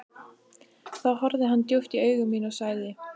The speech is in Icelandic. Þá horfði hann djúpt í augu mín og sagði